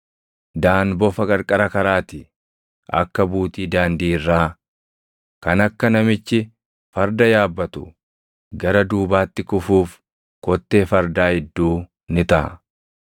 Daan bofa qarqara karaa ti; akka buutii daandii irraa, kan akka namichi farda yaabbatu gara duubaatti kufuuf kottee fardaa idduu ni taʼa.